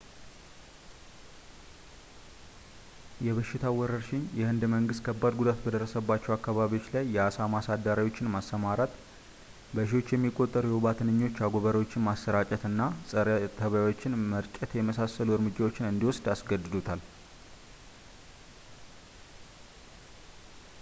የበሽታው ወረርሽኝ የህንድ መንግስት ከባድ ጉዳት በደረሰባቸው አካባቢዎች ላይ የአሳማ አሳዳሪዎችን ማሰማራት ፣ በሺዎች የሚቆጠሩ የወባ ትንኝ አጎበሮችን ማሰራጨት እና ፀረ-ተባዮችን መርጨት የመሳሰሉ እርምጃዎችን እንዲወስድ አስገድዶታል